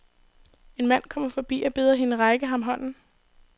En mand kommer forbi og beder hende række ham hånden.